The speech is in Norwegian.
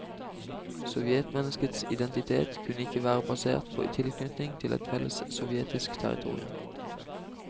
Sovjetmenneskets identitet kunne ikke være basert på tilknytning til et felles sovjetisk territorium.